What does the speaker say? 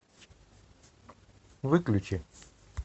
выключи